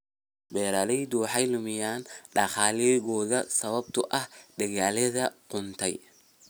Beeraleydu waxay luminayaan dakhligooda sababtoo ah dalagyada qudhuntay.